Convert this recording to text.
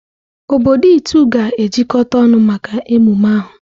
Obodo Itu ga-ejikọta ọnụ maka emume ahụ.